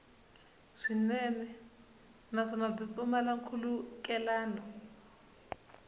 swinene naswona byi pfumala nkhulukelano